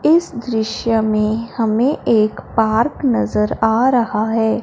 इस दृश्य में हमें एक पार्क नजर आ रहा है।